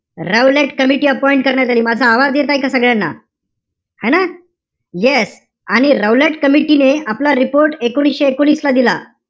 रौलटकमिटी करण्यात आली. माझा आवाज येतोय का सगळ्यांना? है ना? Yes. आणि रौलट कमिटी ने आपला report एकोणीशे एकोणीस ला दिला.